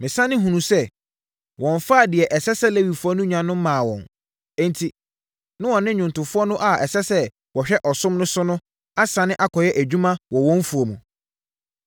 Mesane hunuu sɛ wɔmfaa deɛ ɛsɛ sɛ Lewifoɔ no nya no mmaa wɔn, enti, na wɔne nnwomtofoɔ no a ɛsɛ sɛ wɔhwɛ ɔsom no so no asane akɔyɛ adwuma wɔ wɔn mfuo mu.